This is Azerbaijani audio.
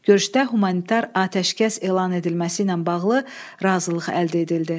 Görüşdə humanitar atəşkəs elan edilməsi ilə bağlı razılıq əldə edildi.